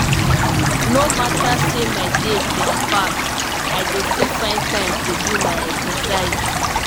no matter say my day jam-packed i dey still find time do my exercise.